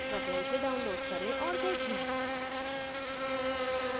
कृपया इसे download करें और देखें